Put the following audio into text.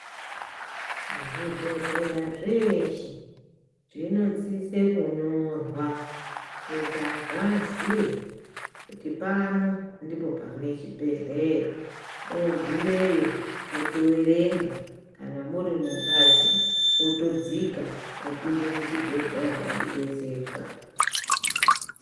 Zvibhedhleya zveeshe, zvino sise kunyorwa kuti anhu aziye kuti pano ndipo pane chibhedhleya, oogumeyo otoverenga, kana muri mubhazi, otodzika , opinde muchibhedhleya odetserwa